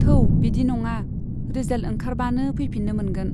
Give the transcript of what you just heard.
थौ बिदि नङा , रिजाल्ट ओंखारबानो फैफिन्नो मोनगोन।